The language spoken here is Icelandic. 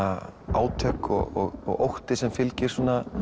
átök og ótti sem fylgir